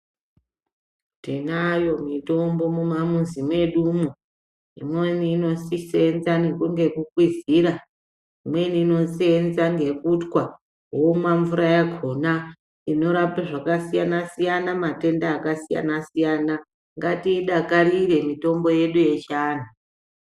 Tinayo mitombo mumamuzi mwedu umu ,imweni inosisenza nekuda kwekukwizira ,imweni inosenza ngekutwa wonwa mvura yakona inorape zvakasiyana siyana ,matenda akasiyana siyana ngatiyidakarire mitombo yedu yechianhu.